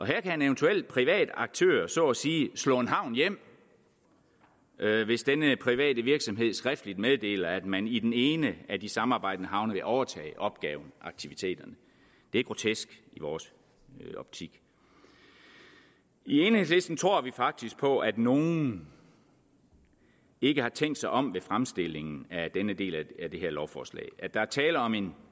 her kan en eventuel privat aktør så at sige slå en havn hjem hvis denne private virksomhed skriftligt meddeler at man i den ene af de samarbejdende havne vil overtage opgaven og aktiviteterne det er grotesk i vores optik i enhedslisten tror vi faktisk på at nogen ikke har tænkt sig om ved fremstillingen af denne del af det her lovforslag altså at der er tale om en